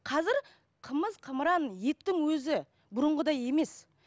қазір қымыз қымыран еттің өзі бұрынғыдай емес